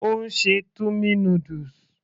Ó ń ṣe tummy noodles